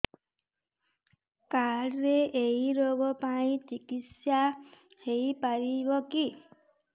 card ରେ ଏଇ ରୋଗ ପାଇଁ ଚିକିତ୍ସା ହେଇପାରିବ କି